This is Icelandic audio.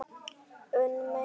Unn mér!